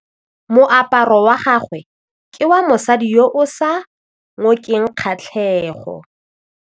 Moaparô wa gagwe ke wa mosadi yo o sa ngôkeng kgatlhegô.